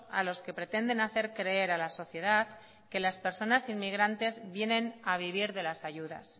a los que pretenden hacer creer a la sociedad que las personas inmigrantes vienen a vivir de las ayudas